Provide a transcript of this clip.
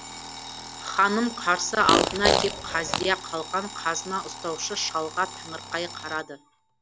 ханым қарсы алдына кеп қаздия қалған қазына ұстаушы шалға таңырқай қарады